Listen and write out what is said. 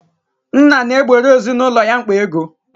Nna na-egboro ezinaụlọ ya mkpa ego.